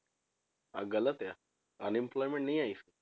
ਅਹ ਗ਼ਲਤ ਆ unemployment ਨਹੀਂ ਆਈ,